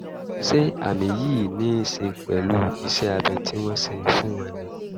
ṣé àmì yìí ní í ṣe pẹ̀lú iṣẹ́ abẹ tí wọ́n ṣe fún wọn ni?